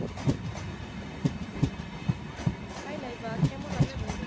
Hi Laiba কেমন আছো